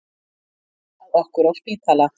Róið var í veg fyrir hann og hlúð að okkur á spítala